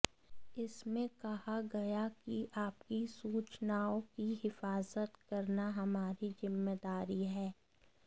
इसमें कहा गया कि आपकी सूचनाओं की हिफाजत करना हमारी जिम्मेदारी है